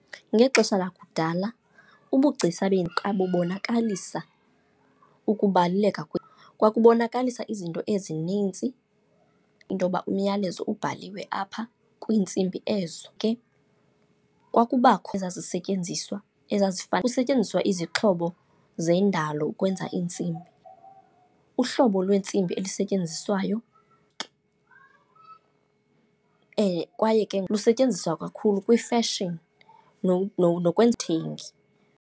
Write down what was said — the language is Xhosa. Ngexesha lakudala ubugcisa bubonakalisa ukubaluleka , kwakubonakalisa izinto ezinintsi, into yoba umyalezo ubhaliwe apha kwiintsimbi ezo. Ke kwakubakho ezazisentyenziswa, ezifana kusetyenziswa izixhobo zendalo ukwenza iintsimbi. Uhlobo lweentsimbi elisetyenziswayo kwaye ke lisetyenziswa kakhulu kwi-fashion .